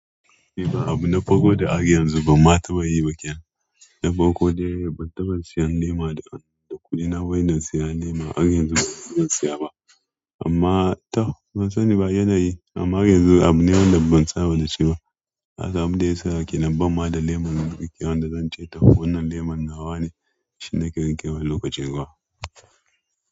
Eh ba abu na farko da har yanzu ban ma ta ba yi baƙenan. Na farko dai ban taɓa siyan lema da kuɗina ba, ina siyan lema har yanzu ban siya ba amma tab ban sani ba yanayi amma har yanzu abu lemon da ban saba da shi ba. Kasan abinda yasa kenan ban ma da lema wanda zance wannan lema nawane shine kawai lokacin ruwa.